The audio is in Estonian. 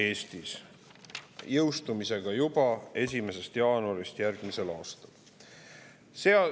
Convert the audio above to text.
See jõustub juba 1. jaanuaril järgmisel aastal.